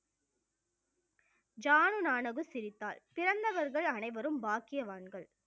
ஜானு நானகு சிரித்தாள் சிறந்தவர்கள் அனைவரும் பாக்கியவான்கள்